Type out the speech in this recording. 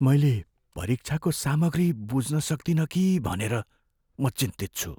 मैले परीक्षाको सामग्री बुझ्न सक्दिन कि भनेर म चिन्तित छु।